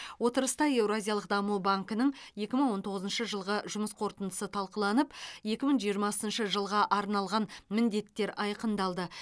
отырыста еуразиялық даму банкінің екі мың он тоғызыншы жылғы жұмыс қорытындысы талқыланып екі мың жиырмасыншы жылға арналған міндеттер айқындалды